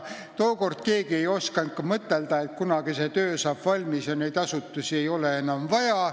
Tookord ei osanud keegi mõtelda, et kunagi saab see töö valmis ja neid asutusi ei ole siis enam vaja.